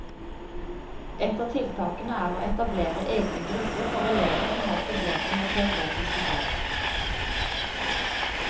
Et av tiltakene er å etablere egne grupper for elever som har problemer med teoretiske fag.